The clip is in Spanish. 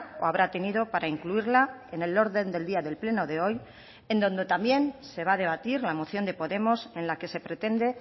o habrá tenido para incluirla en el orden del día del pleno de hoy en donde también se va a debatir la moción de podemos en la que se pretende